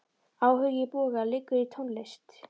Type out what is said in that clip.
Áhugi Boga liggur í tónlist.